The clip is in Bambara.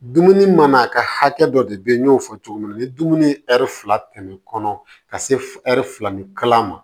Dumuni mana kɛ hakɛ dɔ de bɛ n'o fɔ cogo min na ni dumuni ye ɛri fila tɛmɛ kɔnɔ ka se ɛri fila ni kalama